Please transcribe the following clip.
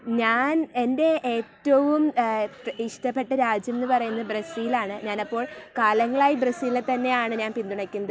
ഞാൻ , എന്റെ ഏറ്റവും ഇഷ്ട്ടപെട്ട രാജ്യംന്ന് പറയുന്നത് ബ്രസീൽ ആണ് . അപ്പോൾ കാലങ്ങളായി ബ്രസീലിനെ തന്നെയാണ് ഞാൻ പിന്തുണയ്ക്കുന്നത്.